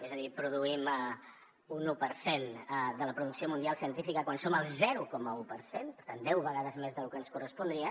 és a dir produïm un u per cent de la producció mundial científica quan som el zero coma un per cent per tant deu vegades més de lo que ens correspondria